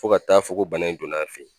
Fo ka taa fɔ ko bana in donn'a fɛ yen